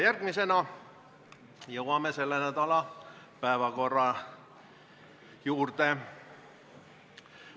Järgmisena jõuame selle nädala päevakorra juurde.